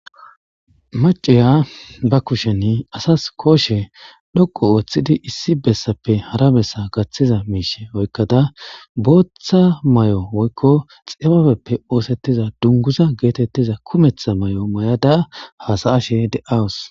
maciya ba kushen asas kooshe dhoqo ooththidi issi bessappe hara bessa gaththiza miishe oykkada booththa may7o woykko xibabeppe oosettiza dunguza geetettiza kumeththa may7o may7ada hasaashe de7awus